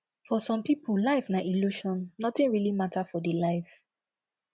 for some pipo life na illusion nothing really matter for di life